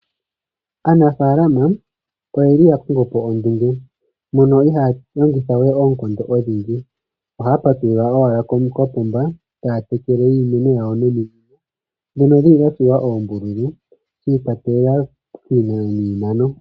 Aanafalama oyeli yakongopo ondunge mono ihaya longithawe oonkondo odhindji. Ohaya patulula owala kokapomba etaya tekele iimeno yawo nominino ndhono dhili dhatsuwa oombululu shikwatelela kiinano yiimeno.